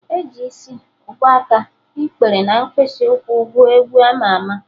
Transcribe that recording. E ji Isi, ubuaka, ikpere na mkpịsị ụkwụ gụọ egwu ama ama